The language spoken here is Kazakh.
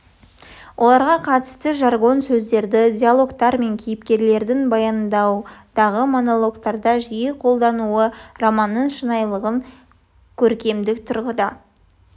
оларға қатысты жаргон сөздерді диалогтар мен кейіпкерлердің баяндауындағы монологтарда жиі қолдануы романның шынайылығын көркемдік тұрғыда